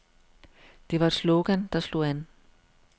Det var et slogan, der slog an.